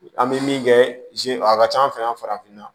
An bɛ min kɛ a ka ca an fɛ yan farafinna